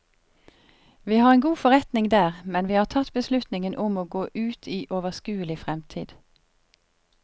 Vi har en god forretning der, men vi har tatt beslutningen om å gå ut i overskuelig fremtid.